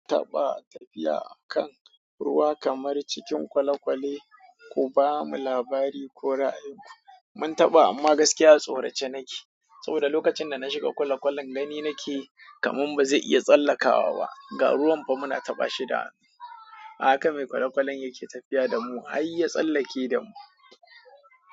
Kun taɓa tafiya a kan ruwa kamar cikin kwalekwale ku bamu labari ko ra'ayin ku. Mun taɓa amma gaskiya a tsorace nake. Saboda lokacin da na shiga kwalekwalen gani nake kaman bazai iya tsallakawa ba. Ga ruwan fa muna taba shi da hannu. Haka mai kwalekwalen yake tafiya da mu har ya tsallake da mu.